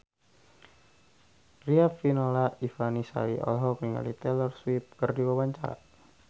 Riafinola Ifani Sari olohok ningali Taylor Swift keur diwawancara